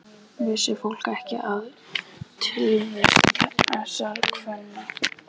Vissi fólk ekki af tilvist þessara kvenna?